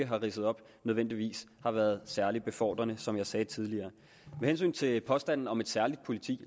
har ridset op nødvendigvis har været særlig befordrende som jeg sagde tidligere med hensyn til påstanden om et særligt politi